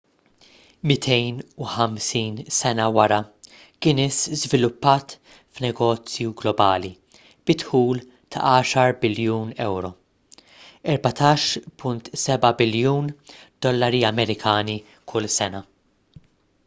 250 sena wara guinness żviluppat f'negozju globali bi dħul ta' 10 biljun euro us$14.7 biljun kull sena